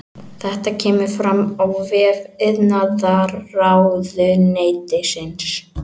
Þetta kemur fram á vef iðnaðarráðuneytisins